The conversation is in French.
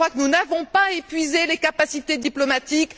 Je crois que nous n'avons pas épuisé les capacités diplomatiques.